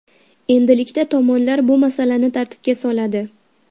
Endilikda tomonlar bu masalani tartibga soladi.